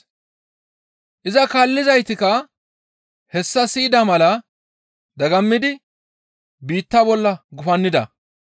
Iza kaallizaytikka hessa siyida mala dagammidi biitta bolla gufannida.